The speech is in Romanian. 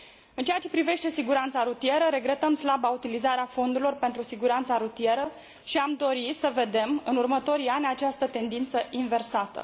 În ceea ce privește siguranța rutieră, regretăm slaba utilizare a fondurilor pentru siguranța rutieră și am dori, în următorii ani, să vedem această tendință inversată.